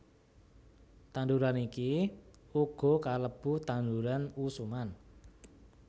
Tanduran iki uga kalebu tanduran usuman